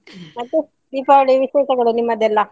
ಮತ್ತೆ ದೀಪಾವಳಿಯ ವಿಶೇಷಗಳು ನಿಮ್ಮದೆಲ್ಲಾ?